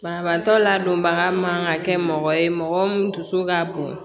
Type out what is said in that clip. Banabaatɔ ladonbaga man ka kɛ mɔgɔ ye mɔgɔ mun dusu ka bon